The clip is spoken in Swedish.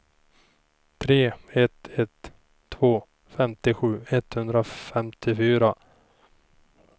tre ett ett två femtiosju etthundrafemtiofyra